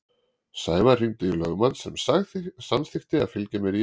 Sævar hringdi í lögmann sem samþykkti að fylgja mér í yfirheyrsluna.